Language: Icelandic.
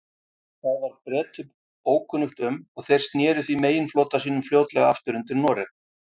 Það var Bretum ókunnugt um, og þeir sneru því meginflota sínum fljótlega aftur undir Noreg.